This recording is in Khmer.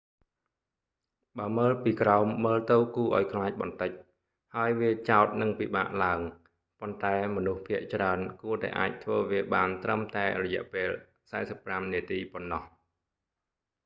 បើមើលពីក្រោមមើលទៅគួរឱ្យខ្លាចបន្តិច ហើយវាចោតនិងពិបាកឡើង ប៉ុន្តែមនុស្សភាគច្រើនគួរតែអាចធ្វើវាបានត្រឹមតែរយៈពេល 45 នាទីប៉ុណ្ណោះ